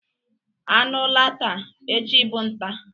Anu laa taa, echi bu nta..